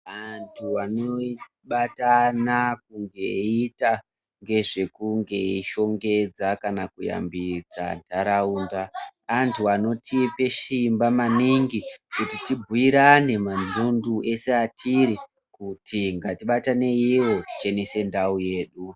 Antu anobatana kunge eiita ngezvekunge eishongedza kana kuyambidza ntaraunda. Antu anotipe simba maningi kuti tibhuirane manhundu ese atiri kuti ngatibataneivo tichenese ndau yedu.